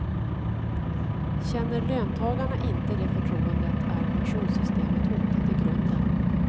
Känner löntagarna inte det förtroendet är pensionssystemet hotat i grunden.